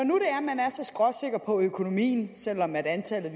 er så skråsikker på økonomien selv om antallet